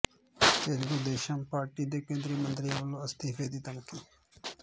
Telugu Desam party ਦੇ ਕੇਂਦਰੀ ਮੰਤਰੀਆਂ ਵੱਲੋਂ ਅਸਤੀਫੇ ਦੀ ਧਮਕੀ